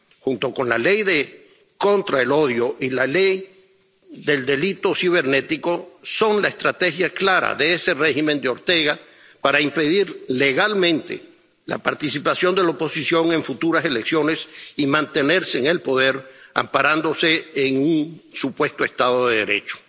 junto con la Ley contra los Delitos de Odio y la Ley Especial de Ciberdelitos, son la estrategia clara de ese régimen de Ortega para impedir legalmente la participación de la oposición en futuras elecciones y mantenerse en el poder amparándose en un supuesto Estado de Derecho.